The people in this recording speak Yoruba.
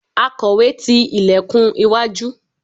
akowe ti ilekun iwájú